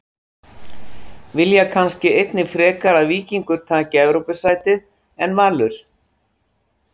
Vilja kannski einnig frekar að Víkingur taki Evrópusætið en Valur?